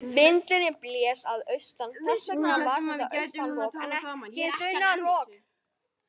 Vindurinn blés að austan, þess vegna var þetta austan rok en ekki sunnan rok.